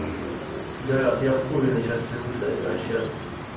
пидарас я обкуренный сейчас сижу кстати вообще